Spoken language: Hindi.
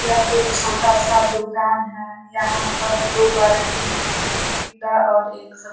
यह एक छोटा सा दुकान है। यहाँ पर दो बाल्टी है एक पीला और एक सफ़ेद।